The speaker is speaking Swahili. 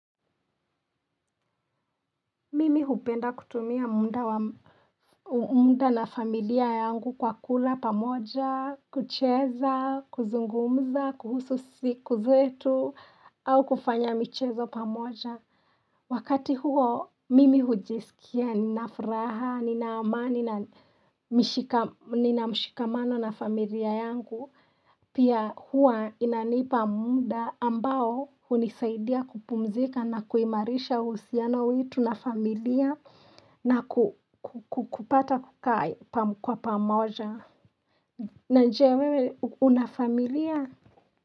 Mimi hupenda kutumia muda na familia yangu kwa kula pamoja, kucheza, kuzungumza, kuhusu siku zetu, au kufanya michezo pamoja. Wakati huo, mimi hujisikia, nina furaha, nina amani, nina mshikamano na familia yangu. Pia huwa inanipa muda ambao hunisaidia kupumzika na kuimarisha uhusiano wetu na familia na kupata kwa pamoja. Na je wewe una familia?